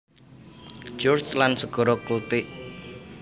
George lan Segara Keltik